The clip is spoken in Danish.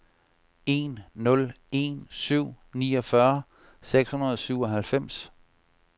en nul en syv niogfyrre seks hundrede og syvoghalvfems